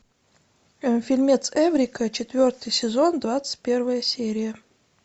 фильмец эврика четвертый сезон двадцать первая серия